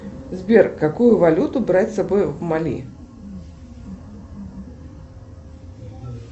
сбер какую валюту брать с собой в мали